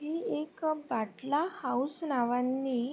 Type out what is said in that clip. ही एक अ बाटला हाऊस नावानी--